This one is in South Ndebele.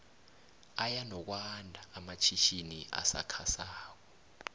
aya nokwando amatjhitjini asakha sako